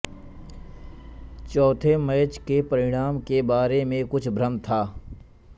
चौथे मैच के परिणाम के बारे में कुछ भ्रम था